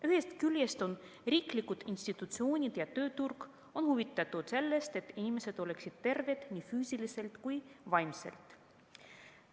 Ühest küljest on riiklikud institutsioonid ja tööturg huvitatud sellest, et inimesed oleksid terved nii füüsiliselt kui ka vaimselt.